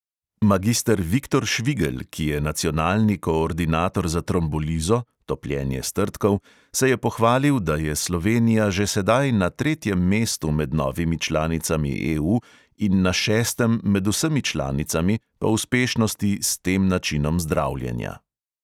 Magister viktor švigelj, ki je nacionalni koordinator za trombolizo (topljenje strdkov), se je pohvalil, da je slovenija že sedaj na tretjem mestu med novimi članicami EU in na šestem med vsemi članicami po uspešnosti s tem načinom zdravljenja.